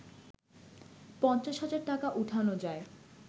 ৫০ হাজার টাকা উঠানো যায়